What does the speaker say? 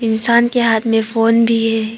इंसान के हाथ में फोन भी है।